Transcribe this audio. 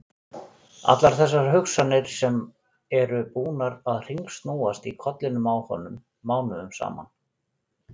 Allar þessar hugsanir sem eru búnar að hringsnúast í kollinum á honum mánuðum saman!